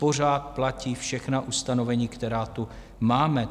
Pořád platí všechna ustanovení, která tu máme.